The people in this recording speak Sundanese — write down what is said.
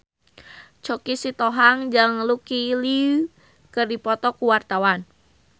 Choky Sitohang jeung Lucy Liu keur dipoto ku wartawan